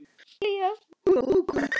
Hún var góð kona.